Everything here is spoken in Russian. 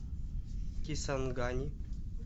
кисангани